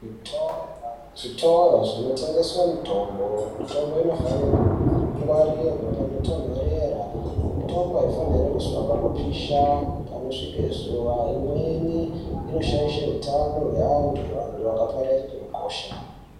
Zvitoro zvinotengeswa mitombo mitombo inofane kungwarirwa panotonhorera mitombo haifanirwe kuiswa panopisha panosvike zuva imweni inoshaishe utano hweantu vantu vakapararire ukosha.